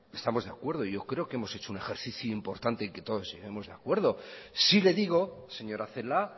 estamos de acuerdo yo creo que hemos hecho un ejercicio importante y que todos seguimos de acuerdo sí le digo señora celaá